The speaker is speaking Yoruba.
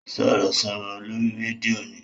Sọ̀rọ̀sọ̀rọ̀ lórí rédíò ni.